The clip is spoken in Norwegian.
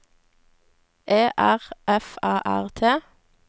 E R F A R T